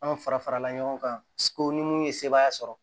Anw fara farala ɲɔgɔn kan ko ni mun ye sebaaya sɔrɔ